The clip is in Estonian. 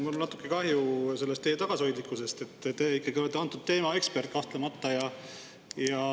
Mul on natuke kahju, et te nii tagasihoidlik olete, te ikkagi olete antud teema ekspert, kahtlemata.